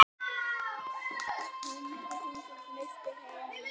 Hundruð þúsunda misstu heimili sín.